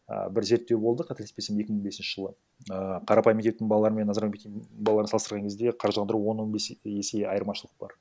ііі бір зерттеу боды қателеспесем екі мың бесінші жылы і қарапайым мектептің балалары мен назарбаев мектебі балаларын салыстырған кезде қаржыландыру он он бес есе айырмашылық бар